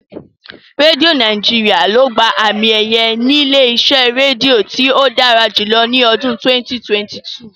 Rédíó Nàíjirià ló gba àmi-ẹ̀yẹ ilé-iṣẹ́ rédíò tí ó dára jùlọ ní ọdún 2022.